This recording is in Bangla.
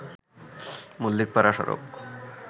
মল্লিকপাড়া সড়ক